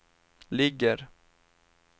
ligger